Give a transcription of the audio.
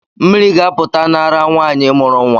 Mmiri ga-apụta n’ara nwanyị mụrụ nwa